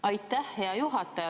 Aitäh, hea juhataja!